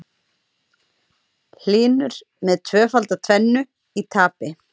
Hlynur með tvöfalda tvennu í tapi